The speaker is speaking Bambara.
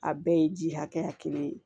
A bɛɛ ye ji hakɛya kelen ye